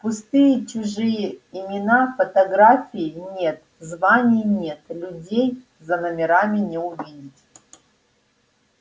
пустые чужие имена фотографий нет званий нет людей за номерами не увидеть